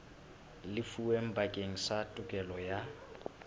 lefuweng bakeng sa tokelo ya